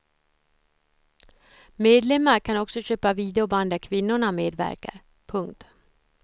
Medlemmar kan också köpa videoband där kvinnorna medverkar. punkt